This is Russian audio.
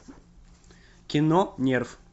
кино нерв